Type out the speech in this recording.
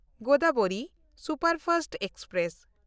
Godavari superfast express